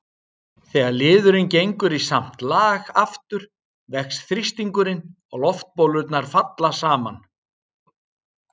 Þegar liðurinn gengur í samt lag aftur vex þrýstingurinn og loftbólurnar falla saman.